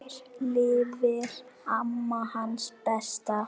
Eftir lifir amma, hans besta.